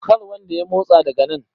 kar wanda ya motsa daga nan?